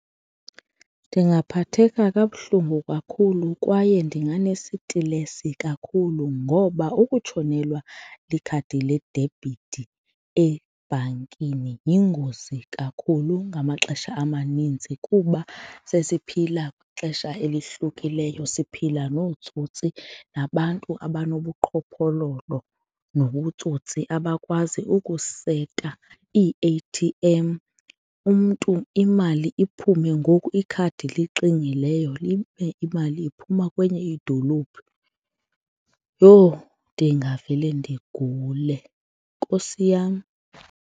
Ndingaphatheka kabuhlungu kakhulu kwaye ndinganesitilesi kakhulu ngoba ukutshonelwa likhadi ledebhithi ebhankini yingozi kakhulu ngamaxesha amaninzi kuba sesiphila xesha elihlukileyo, siphila nootsotsi nabantu abanobuqhophololo nobutsotsi abakwazi ukuseta ii-A_T_M, umntu imali iphume ngoku ikhadi lixingileyo ibe imali iphuma kwenye idolophu, yho! Ndingavele ndigule, Nkosi yam.